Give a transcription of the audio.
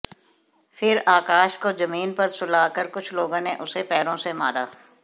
फिर आकाश को जमीन पर सुला कर कुछ लोगों ने उसे पैरों से मारा